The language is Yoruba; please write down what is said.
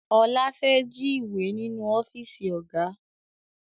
Ọlá fẹ́ jí ìwé ninu ọ́fíìsì Ọ̀gá